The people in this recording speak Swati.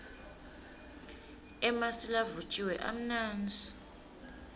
emasi lavutjiwe amnandzi